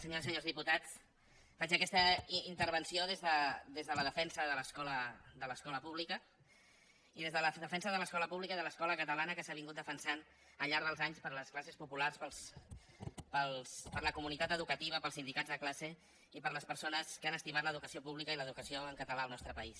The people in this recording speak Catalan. senyores i senyors diputats faig aquesta intervenció des de la defensa de l’escola pública i des de la defensa de l’escola pública i de l’escola catalana que s’ha defensat al llarg dels anys per les classes populars per la comunitat educativa pels sindicats de classe i per les persones que han estimat l’educació pública i l’educació en català al nostre país